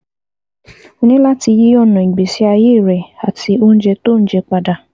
O ní láti yí ọ̀nà ìgbésí ayé rẹ àti oúnjẹ tó ò ń jẹ padà